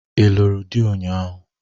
Ị lụrụ ụnyahụ?